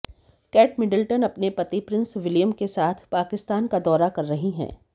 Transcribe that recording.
cat Middleton अपने पति prince William के साथ पाकिस्तान का दौरा कर रही हैं